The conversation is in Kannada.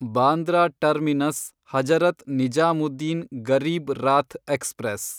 Bandra terminus Hazrat Nizamuddin Garib Rath express